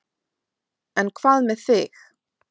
En hvað með þig.